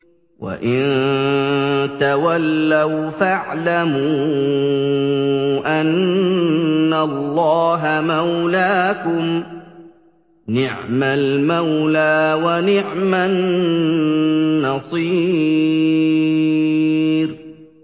وَإِن تَوَلَّوْا فَاعْلَمُوا أَنَّ اللَّهَ مَوْلَاكُمْ ۚ نِعْمَ الْمَوْلَىٰ وَنِعْمَ النَّصِيرُ